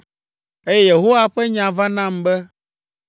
Eye Yehowa ƒe nya va nam be,